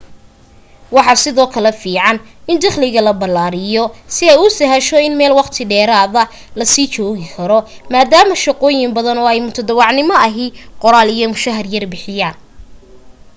waxa sidoo kale fiiican in dakhliga la ballaariyo si ay u sahasho in meel waqti dheeraada la sii joogi karo maadaama shaqooyin badan oo mutadawacnimo ahi qollaal iyo mushahar yar bixiyaan